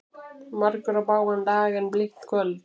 Margur á bágan dag en blítt kvöld.